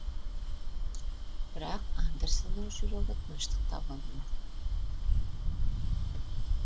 бірақ андерсеннің жүрегі тыныштық таба алмады